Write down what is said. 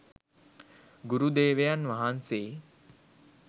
ගුරුදේවයන් වහන්සේ